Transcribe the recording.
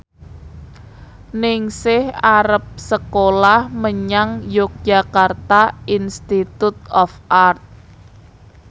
Ningsih arep sekolah menyang Yogyakarta Institute of Art